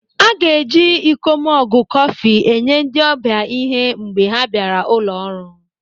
A ga-eji iko mọgụ kọfị enye ndị ọbịa ịhe mgbe ha bịara ụlọ ọrụ.